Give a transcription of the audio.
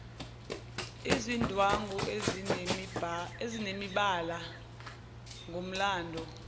izindwangu ezinemibala ngomlando